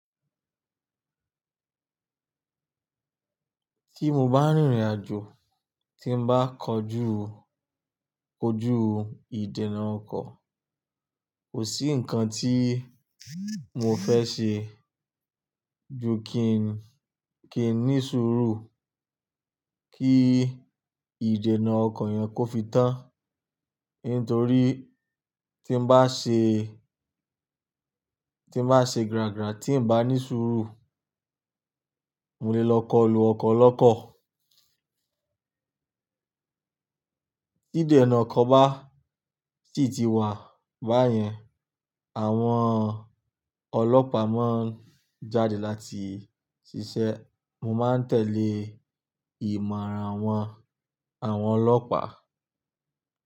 Tí mo bá rìnrìn àjò, tí n bá kọjú, kojú ìdènà ọkọ̀, kò sí nǹkan tí mo fẹ́ ṣe ju kí n, kí n ní sùúrù kí ìdènà ọkọ̀ yẹn kó fi tán. Nítorí tí bá ṣe, tí bá ṣe gràgrà tí n bá ní sùúrù, mo lè lọ kọlu ọkọ̀ lọ́kọ̀. Ídènà ọkọ̀ bá sì ti wà báyẹn, àwọn ọlọ́pàá mo ń jáde láti ṣiṣẹ́. Mo máa ń tẹ̀lé ìmọ̀ràn wọn, àwọn ọlọ́pàá.